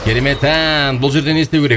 керемет ән бұл жерде не істеу керек